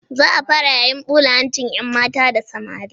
Za a fara yayin ɓula hancin 'yanmata da samari.